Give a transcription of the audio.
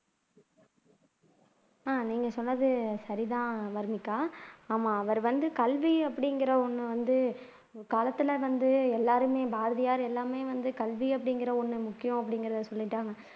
ஆஹ் நீங்க சொன்னது சரிதான் வர்னிகா ஆமா அவர் வந்து கல்வ அப்படிங்கிற ஒன்னு வந்து வந்து எல்லாருமே பாரதியார் எல்லாமே வந்து கல்வி அப்படிங்கிற ஒன்னு முக்கியம் அப்படிங்கிறதை சொல்லிட்டாங்க